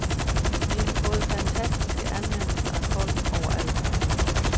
Vi har fået fantastiske anmeldelser af folk overalt.